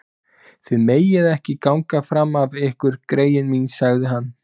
Þið megið ekki ganga fram af ykkur greyin mín sagði hann.